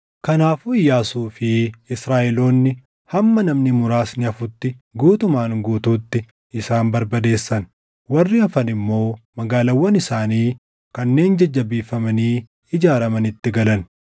Kanaafuu Iyyaasuu fi Israaʼeloonni hamma namni muraasni hafutti guutumaan guutuutti isaan barbadeessan. Warri hafan immoo magaalaawwan isaanii kanneen jajjabeeffamanii ijaaramanitti galan.